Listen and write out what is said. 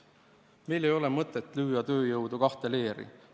Meil ei ole mõtet lüüa tööjõudu kahte leeri.